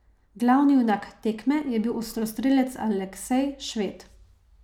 Glavni junak tekme je bil ostrostrelec Aleksej Šved.